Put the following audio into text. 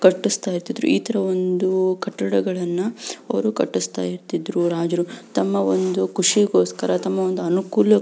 ಕಟ್ಟಿಸ್ತಾ ಇರ್ತಿದ್ರು ಈ ತರ ಒಂದು ಕಟ್ಟಡವನ್ನ ಅವರು ಕಟ್ಟಿಸ್ತಾ ಇರ್ತಿದ್ರು ರಾಜರು ತಮ್ಮ ಒಂದು ಖುಷಿಗೋಸ್ಕರ ತಮ್ಮ ಒಂದು ಅನುಕೂಲಕ--